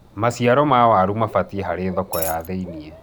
maciaro ma waru mabatie harĩ thoko ya thi-inĩ